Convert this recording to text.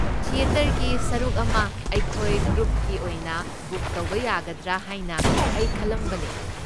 ꯊꯤꯑꯦꯇꯔꯒꯤ ꯁꯔꯨꯛ ꯑꯃ ꯑꯩꯈꯣꯏ ꯒ꯭ꯔꯨꯞꯀꯤ ꯑꯣꯏꯅ ꯕꯨꯛ ꯇꯧꯕ ꯌꯥꯒꯗ꯭ꯔꯥ ꯍꯥꯏꯅ ꯑꯩ ꯈꯜꯂꯝꯕꯅꯦ꯫